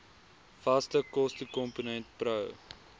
vaste kostekomponent pro